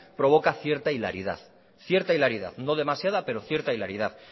provoca cierta hilaridad cierta hilaridad no demasiada pero cierta hilaridad